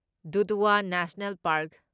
Dudhwa national park